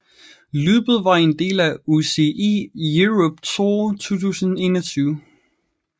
Løbet var en del af UCI Europe Tour 2021